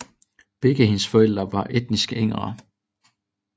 Begge hendes forældre var etniske ingrere